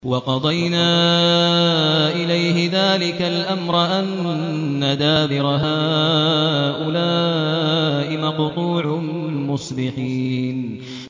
وَقَضَيْنَا إِلَيْهِ ذَٰلِكَ الْأَمْرَ أَنَّ دَابِرَ هَٰؤُلَاءِ مَقْطُوعٌ مُّصْبِحِينَ